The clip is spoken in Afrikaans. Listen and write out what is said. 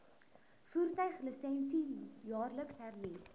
voertuiglisensie jaarliks hernu